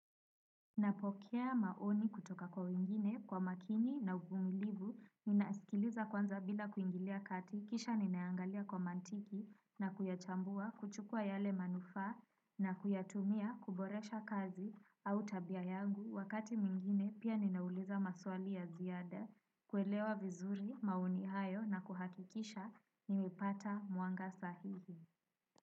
Napokea maoni kutoka kwa wengine kwa makini na uvumilivu ninasikiliza kwanza bila kuingilia kati kisha ninaangalia kwa mantiki na kuyachambua kuchukua yale manufa na kuyatumia kuboresha kazi au tabia yangu wakati mwingine pia ninauliza maswali ya ziada kuelewa vizuri maoni hayo na kuhakikisha nimepata mwanga sahihi.